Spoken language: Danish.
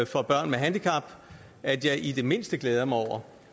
for børn med handicap at jeg i det mindste glæder mig over